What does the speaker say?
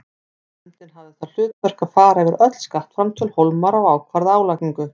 Nefndin hafði það hlutverk að fara yfir öll skattframtöl Hólmara og ákvarða álagningu.